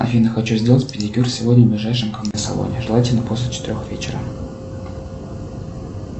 афина хочу сделать педикюр сегодня в ближайшем ко мне салоне желательно после четырех вечера